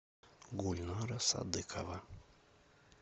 гульнара садыкова